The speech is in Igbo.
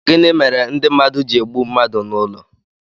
Gịnị mere ndị mmadụ ji egbu mmadụ n'ụlọ